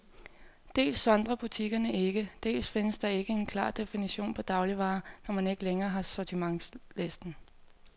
Dels sondrer butikkerne ikke, dels findes der ikke en klar definition på dagligvarer, når man ikke længere har sortimentslisten.